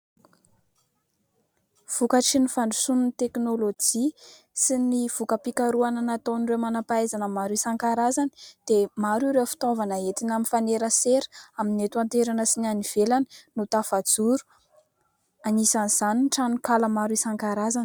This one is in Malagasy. Vokatry ny fandrosoan'ny teknolojia sy ny voka-pikarohana nataon'ireo manampahaizana maro isan-karazany dia maro ireo fitaovana entina mifanerasera amin'ny eto an-toerana sy ny any ivelany no tafajoro. Anisan'izany ny tranonkala maro isan-karazany.